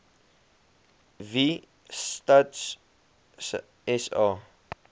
wie stats sa